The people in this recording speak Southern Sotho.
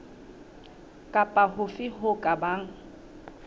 kapa hofe ho ka bang